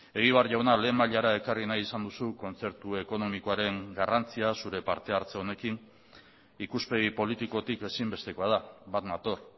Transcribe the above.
egibar jauna lehen mailara ekarri nahi izan duzu kontzertu ekonomikoaren garrantzia zure partehartze honekin ikuspegi politikotik ezinbestekoa da bat nator